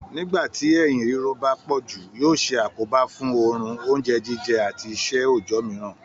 Nígbà tí eyín ríro bá pọ̀ jù yóò ṣe àkóbá fún orun, oúnjẹ jíjẹ àti iṣẹ́ òòjọ́ mìíràn.